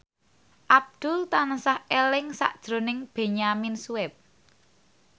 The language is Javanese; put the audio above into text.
Abdul tansah eling sakjroning Benyamin Sueb